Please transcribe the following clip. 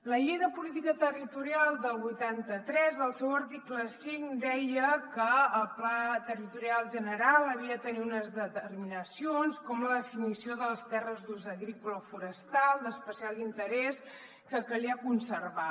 la llei de política territorial del vuitanta tres al seu article cinc deia que el pla territorial general havia de tenir unes determinacions com la definició de les terres d’ús agrícola o forestal d’especial interès que calia conservar